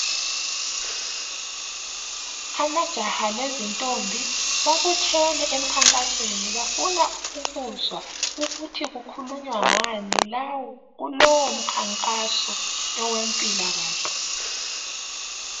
Amajaha lezintombi, babuthene emkhankasweni bafuna, ukuzwa ukuthi kukhulunywa ngani kulowo mkhankaso owemphilakahle.